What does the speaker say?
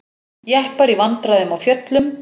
Jeppar í vandræðum á fjöllum